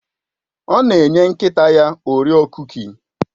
Ọ na enye nkịta ya orio kuki